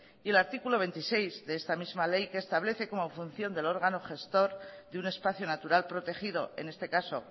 y el artículo veintiséis de esta misma ley que establece como función del órgano gestor de un espacio natural protegido en este caso